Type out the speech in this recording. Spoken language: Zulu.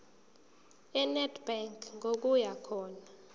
enedbank ngokuya khona